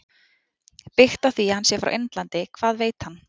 Byggt á því að hann sé frá Indlandi- Hvað veit hann?